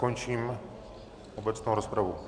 Končím obecnou rozpravu.